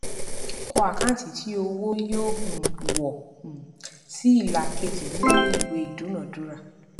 kọ àkáǹtì tí owó yóò um wọ um sí ìlà kejì nínú ìwé ìdúnadúrà